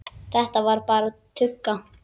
Þetta var bara tugga.